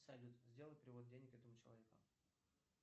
салют сделай перевод денег этому человеку